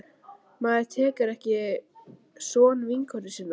Maður tekur ekki son vinkonu sinnar.